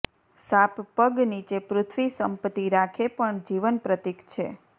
સાપ પગ નીચે પૃથ્વી સંપત્તિ રાખે પણ જીવન પ્રતીક છે